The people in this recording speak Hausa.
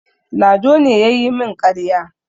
Lado ne ya yi min ƙarya.